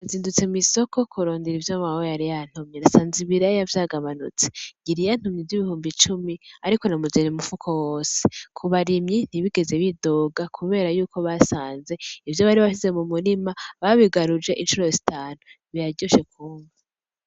Nzidutse mw' isoko kurondera ivyo mawe yari yantumye nsanze ibiraya vyaganutse ,yari yantumye ivy' ibihumbi cumi ariko namuzaniye umufuko wose. Kubarimyi ntibegeze bidoga kubera yuko basanze ivyo bari basize mu murima babigaruje incuro zitanu biraryoshe kwumva.